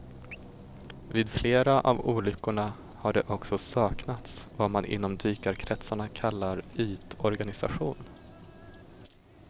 Vid flera av olyckorna har det också saknats vad man inom dykarkretsarna kallar ytorganisation.